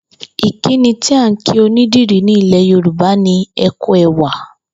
Ìkíni tí à ń kí onídìrí ní ilè̩ Yorùbá ni ‘e̩ kú e̩wà’